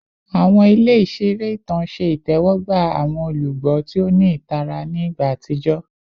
Awọn ile iṣere itan ṣe itẹwọgba awọn olugbo ti o ni itara ni igba atijọ